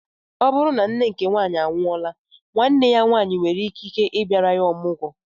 O bụrụ na nne nke nwaanyị anwuola nwanne ya nwanyi nwere ikike bịara ya ọmụgwo